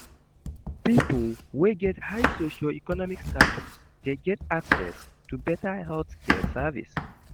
Pipo wey get high socio-economic status de get access to better health care service